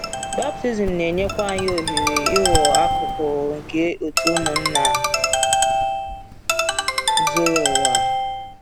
Baptizim na-enyekwa anyị ohere ịghọ akụkụ nke òtù ụmụnna zuru ụwa.